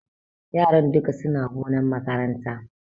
Yaran dukka suna gonan makaranta.